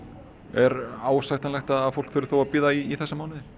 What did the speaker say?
er ásættanlegt að fólki þurfi þó að bíða í þessa mánuði